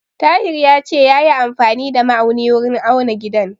Tahir ya ce yayi amfani da ma'auni wurin auna gidan.